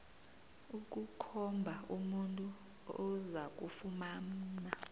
ukukhomba umuntu ozakufumana